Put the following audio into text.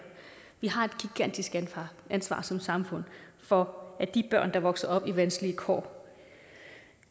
vi har et gigantisk ansvar som samfund for at de børn der vokser op under vanskelige kår